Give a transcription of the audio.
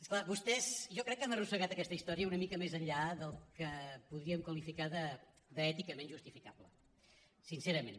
és clar vostès jo crec que han arrossegat aquesta història una mica més enllà del que podríem qualificar d’èticament justifica·ble sincerament